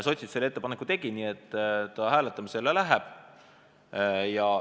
Sotsid selle ettepaneku tegid, nii et hääletamisele see läheb.